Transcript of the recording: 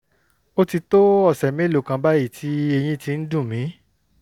ó ti tó ọ̀sẹ̀ mélòó kan báyìí tí eyín ti ń dùn mí